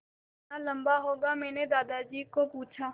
यह कितना लम्बा होगा मैने दादाजी को पूछा